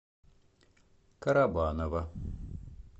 карабаново